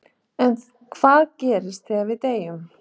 En hvað gerist þegar við deyjum?